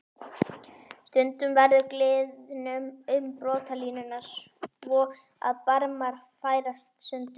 Stundum verður gliðnun um brotalínuna svo að barmar færast sundur.